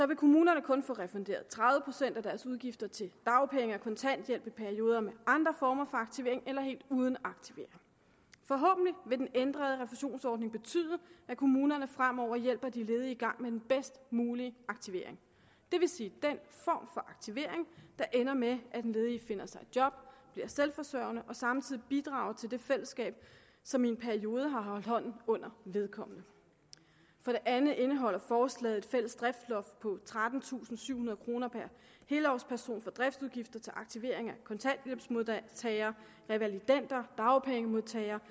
vil kommunerne kun få refunderet tredive procent af deres udgifter til dagpenge og kontanthjælp i perioder med andre former for aktivering eller helt uden aktivering forhåbentlig vil den ændrede refusionsordning betyde at kommunerne fremover hjælper de ledige i gang med den bedst mulige aktivering det vil sige den form aktivering der ender med at den ledige finder sig et job bliver selvforsørgende og samtidig bidrager til det fællesskab som i en periode har holdt hånden under vedkommende for det andet indeholder forslaget et fælles driftsloft på trettentusinde og syvhundrede kroner per helårsperson for driftsudgifter til aktivering af kontanthjælpsmodtagere revalidender dagpengemodtagere